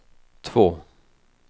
två